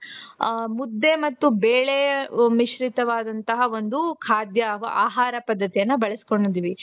ಹ ಮುದ್ದೆ ಮತ್ತು ಬೇಳೆ ಮಿಶ್ರಿತವಾದ ಒಂದು ಖಾದ್ಯ ಆಹಾರ ಪದ್ಧತಿಯನ್ನ ಬೆಳೆಸಿಕೊಂಡಿದ್ದೀವಿ. .